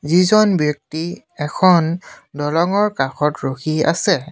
এইজন ব্যক্তি এখন দলংৰ কাষত ৰখি আছে।